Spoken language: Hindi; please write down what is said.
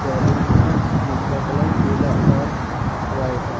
बैलून है जिनका कलर पीला और वाइट है।